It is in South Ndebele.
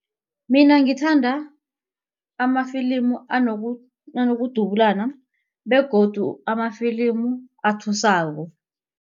Mina ngithanda amafilimu anokudubulana begodu amafilimu athusako.